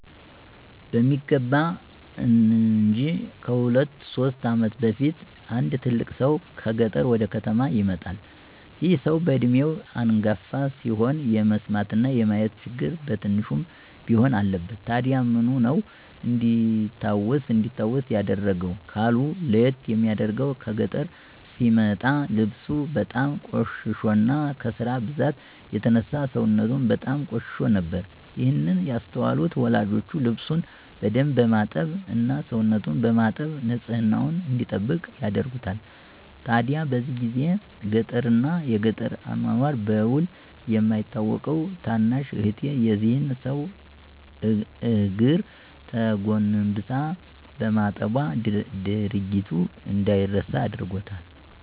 በሚገባ እንጅ። ከሁለት ሶስት ዓመት በፊት አንድ ትልቅ ሰው ከገጠር ወደ ከተማ ይመጣል። ይህ ሰው በዕድሜው አንጋፋ ሲሆን የመስማትና የማየት ችግር በትንሹም ቢሆን አለበት። ታዲያ ምኑ ነው እንዲታወስ ያደረገው? ካሉ፤ ለይት የሚያደርገው ከገጠር ሲመጣ ልብሱ በጣም ቆሽሾና ከስራ ብዛት የተነሳ ሰውነቱም በጣም ቆሽሾ ነበር። ይህን ያስተዋሉት ወላጆቼ ልብሱን በደንብ በማጠብ እና ሰውነቱን በማጠብ ንፅህናውን እንዲጠብቅ ያደርጉታል። ታዲያ በዚህ ጊዜ ገጠርን እና የገጠር አኗኗር በዉል የማታቀው ታናሽ እህቴ የዚህን ሰው እግር ተጎንብሳ በማጠቧ ድርጊቱ እንደይረሳ አድርጎታል።